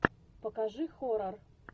покажи хоррор